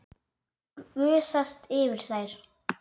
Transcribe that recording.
Gusast yfir þær.